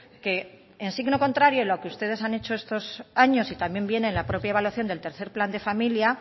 que en signo contrario a lo que ustedes han hecho estos años y también viene en la propia evaluación del tercero plan de familia